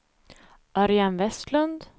Örjan Westlund